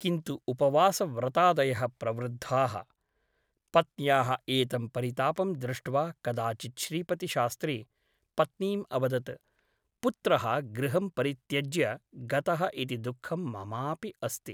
किन्तु उपवासव्रतादयः प्रवृद्धाः । पत्न्याः एतं परितापं दृष्ट्वा कदाचित् श्रीपतिशास्त्री पत्नीम् अवदत् पुत्रः गृहं परित्यज्य गतः इति दुःखं ममापि अस्ति ।